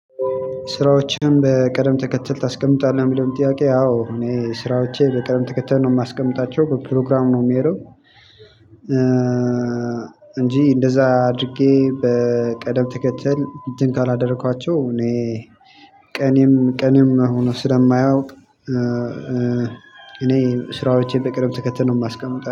ስራዎችህን በቅደም ተከተል ታስቀምጣለህ የሚለውን ጥያቄ? አዎ እኔ ስራዎቼ በቅደም ተከተል ነው የማስቀምጣቸው በፕሮግራም ነው የሚሄደው። እንጂ እንደዛ አድርጌ በቅደም ተከተል እንትን ካላደረኳቸው እኔ ቀኔም ቀኔም ሆኖ ስለማያውቅ። እኔ ስራዎቼን በቅደም ተከተል ነው ማስቀመጥ